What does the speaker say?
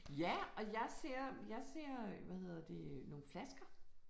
Ja, og jeg ser jeg ser hvad hedder det nogle flasker